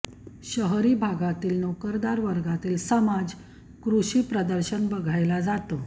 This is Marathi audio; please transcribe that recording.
शहरी भागातील नोकरदार वर्गातील समाज कृषी प्रदर्शन बघायला जातो